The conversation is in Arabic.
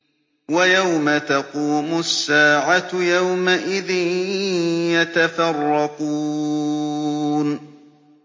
وَيَوْمَ تَقُومُ السَّاعَةُ يَوْمَئِذٍ يَتَفَرَّقُونَ